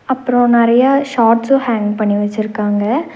அப்பறோ நெறையா ஷாட்ஸும் ஹேங் பண்ணி வெச்சுருக்காங்க.